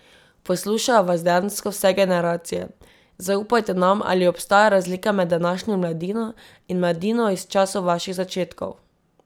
Poslušajo vas dejansko vse generacije, zaupajte nam, ali obstaja razlika med današnjo mladino in mladino iz časov vaših začetkov?